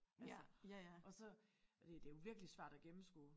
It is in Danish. Altså og så og det det jo virkelig svært at gennemskue